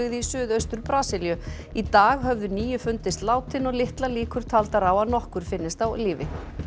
í suðaustur Brasilíu í dag höfðu níu fundist látin og litlar líkur taldar á að nokkur finnist á lífi